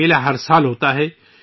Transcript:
یہ میلہ ہر سال لگتا ہے